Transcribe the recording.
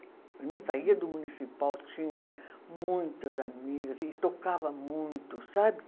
Eu não saía do municipal, tinha muitas amigas e tocava muito, sabe?